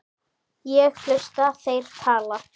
Ég hlusta, þeir tala.